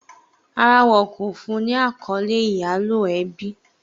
Rárá, wọn kò fún un ní àkọ́lé ìyálò ẹbí.